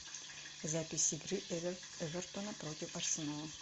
запись игры эвертона против арсенала